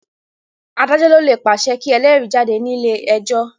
Adájọ́ ló lè pàṣẹ kí elérìí jáde ní ilé ẹjọ́.